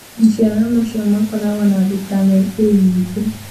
Maciara macio makoragwo na vitamin A nyingĩ